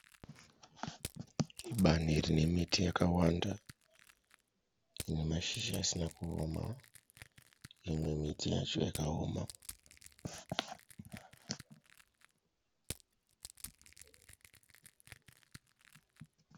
Bani rinemiti yakawanda inemashizha asina kuona. Mimwe miti yacho yakaoma.